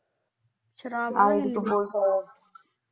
ਸ਼ਰਾਬ ਦੀ